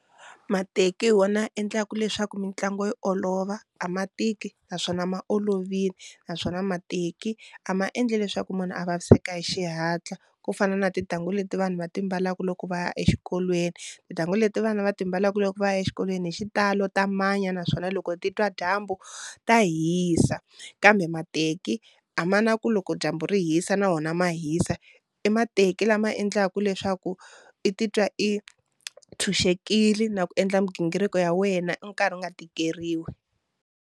Mateki hi wona ya endlaku leswaku mitlangu yi olova a ma tiki naswona ma olovile naswona mateki a ma endli leswaku munhu a vaviseka hi xihatla ku fana na tintangu leti vanhu va ti mbalaka loko va ya exikolweni, tintangu leti vana va timbalelaka loko va ya exikolweni hi xitalo ta manya naswona loko titwa dyambu ta hisa, kambe mateki a ma na ku loko dyambu ri hisa na wona ma hisa i mateki lama endlaka leswaku i titwa i tshunxekile na ku endla migingiriko ya wena u karhi u nga tikeriwi.